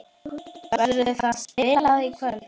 Verður það spilað í kvöld?